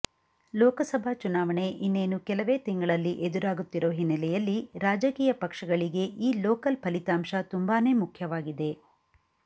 ಲೋಕಸಭಾ ಚುನಾವಣೆ ಇನ್ನೇನು ಕೆಲವೇ ತಿಂಗಳಲ್ಲಿ ಎದುರಾಗುತ್ತಿರೋ ಹಿನ್ನೆಲೆಯಲ್ಲಿ ರಾಜಕೀಯ ಪಕ್ಷಗಳಿಗೆ ಈ ಲೋಕಲ್ ಫಲಿತಾಂಶ ತುಂಬಾನೆ ಮುಖ್ಯವಾಗಿದೆ